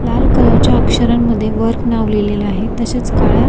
लाल कलरच्या अक्षरा मध्ये वर्क नाव लिहलेले आहे तसेच काळ्या--